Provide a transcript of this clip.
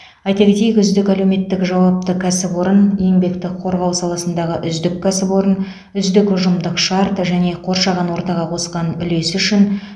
айта кетейік үздік әлеуметтік жауапты кәсіпорын еңбекті қорғау саласындағы үздік кәсіпорын үздік ұжымдық шарт және қоршаған ортаға қосқан үлесі үшін